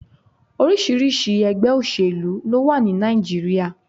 Oríṣiríṣi ẹ̀gbẹ́ òsèlú ló wà ní Nàìjíríà.